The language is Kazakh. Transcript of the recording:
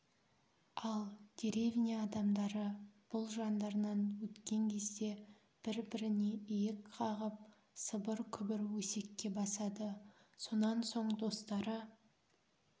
ал деревня адамдары бұл жандарынан өткен кезде бір-біріне иек қағып сыбыр-күбір өсекке басады сонан соң достары